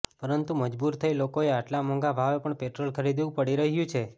પરંતુ મજબુર થઇ લોકોએ આટલા મોંઘા ભાવે પણ પેટ્રોલ ખરીદવું પડી રહ્યુ છે